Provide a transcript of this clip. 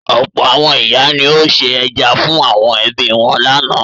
Ọ̀pọ̀ àwọn ìyá ni ó se ẹja fún àwọn ẹbí wọn lánàá.